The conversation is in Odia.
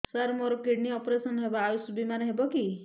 ସାର ମୋର କିଡ଼ନୀ ଅପେରସନ ହେବ ଆୟୁଷ ବିମାରେ ହେବ କି